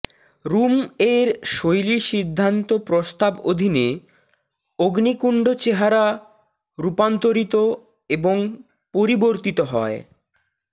room এর শৈলী সিদ্ধান্ত প্রভাব অধীনে অগ্নিকুণ্ড চেহারা রূপান্তরিত এবং পরিবর্তিত হয়